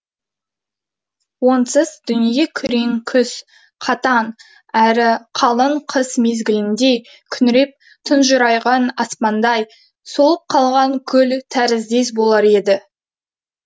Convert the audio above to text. онсыз дүние күрең күз қатаң әрі қалың қыс мезгіліндей күңіреп тұнжырайған аспандай солып қалған гүл тәріздес болар еді